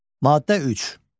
Maddə 3.